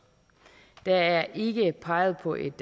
der er ikke peget på et